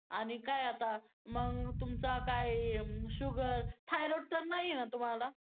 आणि काय आता? मग तुमचा काय sugar? thyroid तर नाहीये ना तुम्हाला?